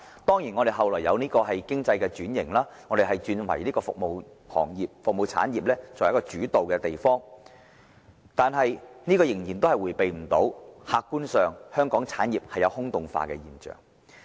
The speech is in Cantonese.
當然，香港後來出現經濟轉型，成為以服務產業為主導的地方，但這仍然無法避免香港產業"空洞化"的現象。